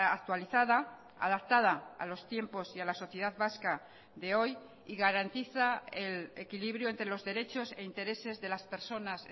actualizada adaptada a los tiempos y a la sociedad vasca de hoy y garantiza el equilibrio entre los derechos e intereses de las personas